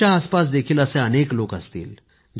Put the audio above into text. तुमच्या आसपास देखील असे अनेक लोक असतील